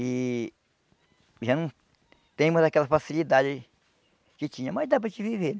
E... já não temos aquela facilidade que tinha, mas dá para gente viver.